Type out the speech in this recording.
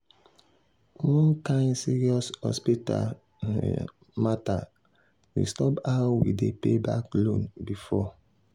one kain serious hospital matter disturb how we dey pay back loan before.